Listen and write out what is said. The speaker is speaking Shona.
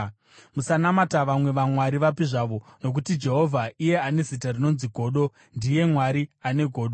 Musanamata vamwe vamwari vapi zvavo, nokuti Jehovha, iye ane zita rinonzi Godo, ndiye Mwari ane godo.